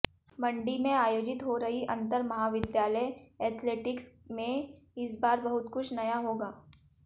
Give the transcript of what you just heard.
मंडी में आयोजित हो रही अंतर महाविद्यालय एथलेटिक्स में इस बार बहुत कुछ नया होगा